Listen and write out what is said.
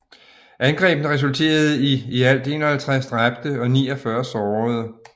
Angrebene resulterede i i alt 51 dræbte og 49 sårede